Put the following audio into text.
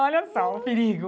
Olha só o perigo.